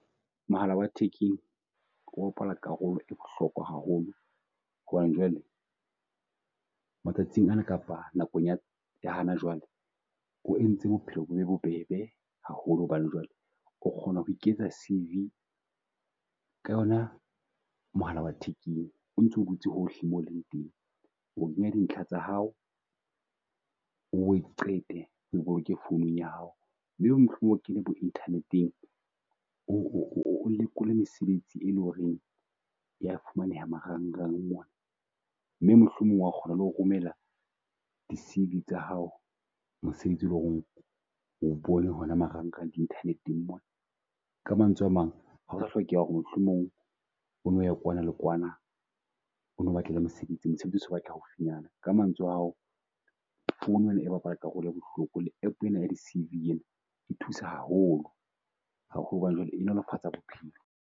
Mohala wa thekeng a bapala karolo e bohlokwa haholo, hobane jwale matsatsing ana kapa nakong ya hana jwale o entse bophelo bo be bobebe haholo. Hobane jwale o kgona ho iketsa C_V ka yona mohala wa thekeng o ntso dutse hohle mo o leng teng. O kenya dintlha tsa hao, o bo di qete, boloke founung ya hao. Mohlomong o kene bo internet-eng o o o o lekole mesebetsi e leng horeng ya e fumaneha marangrang mona. Mme mohlomong wa kgona le ho romela di C_V tsa hao mesebetsi e leng ho re o bone hona marangrang di internet-eng mona. Ka mantswe a mang, ha ho sa hlokeha ho re mohlomong o no ye kwana ke kwana o nno batle mosebetsi, mosebetsi o so batlela haufinyana. ka mantswe ao founu ena e bapala karolo e bohloko le app ena ya di C_V ena e thusa haholo, haholo hobane jwale e nolofatsa bophelo.